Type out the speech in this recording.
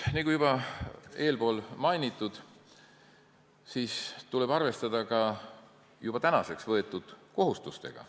Nagu mainitud, meil tuleb arvestada ka juba võetud kohustustega.